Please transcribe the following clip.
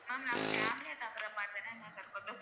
Ma'am நாங்க family யா தங்குற மாதிரிதா ma'am இருக்கட்டும்